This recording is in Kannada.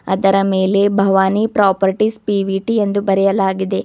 ಅದರ ಮೇಲೆ ಭವಾನಿ ಪ್ರಪಾರ್ಟೀಸ್ ಪಿ_ವಿ_ಟಿ ಎಂದು ಬರೆಯಲಾಗಿದೆ.